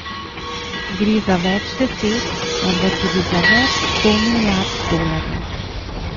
Gre za več deset, morda tudi za več sto milijard dolarjev.